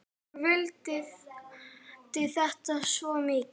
Ég vildi þetta svo mikið.